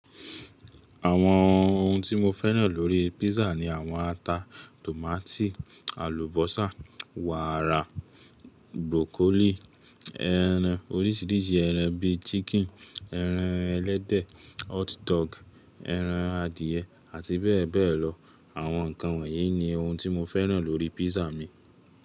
Àwọn ohun tí mo fẹ́ràn lórí písà ni àwọn ata, tòmátì, àlùbọ́sà, wàrà, burokolíì, ẹran, oríṣìíríṣìí ẹran bí i ṣíkínì, ẹran ẹlẹ́dẹ̀, họt dọgù, ẹran adìẹ, àti bẹ́ẹ̀ bẹ́ẹ̀ lọ. Àwọn nǹkan wọ̀nyí ni ohun tí mo fẹ́ràn lórí písà mi.